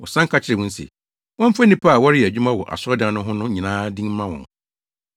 Wɔsan ka kyerɛɛ wɔn se, wɔmfa nnipa a wɔreyɛ adwuma wɔ asɔredan no ho no nyinaa din mma wɔn.